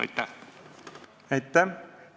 Aitäh!